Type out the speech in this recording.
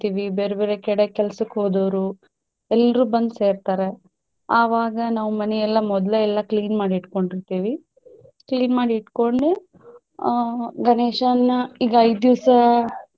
ಬೇರೆ ಬೇರೆ ಕಡೆ ಕೆಲ್ಸಕ್ಕ ಹೊದೊವ್ರು ಎಲ್ರೂ ಬಂದ ಸೆರ್ತಾರ ಆವಾಗ ನಾವ ಮನಿಯೆಲ್ಲಾ ಮೊದ್ಲ ಎಲ್ಲಾ clean ಮಾಡಿ ಇಟ್ಟಕೊಂಡಿರ್ತೆವಿ clean ಮಾಡಿ ಇಟ್ಟಕೊಂಡು ಆಹ್ ಗಣೇಶನ್ನ ಈಗ ಐದ ದಿವ್ಸ.